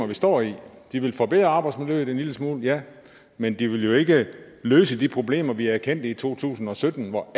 vi står i de vil forbedre arbejdsmiljøet en lille smule ja men de vil jo ikke løse de problemer vi erkendte i to tusind og sytten hvor